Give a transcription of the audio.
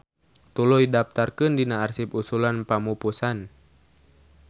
Tuluy daptarkeun dina arsip usulan pamupusan.